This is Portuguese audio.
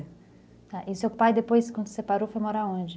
É. E seu pai, depois, quando se separou, foi morar onde?